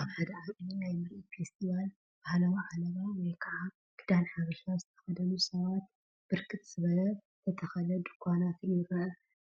አብ ሓደ ዓብይ ናይ ምርኢት ፌስቲቫል ባህላዊ ዓለባ ወይከዓ ክዳን ሓበሻ ዝተኸደኑ ሰባትን ብርክት ዝበለ ዝተተኽለ ድንኳናትን ይርአ፡፡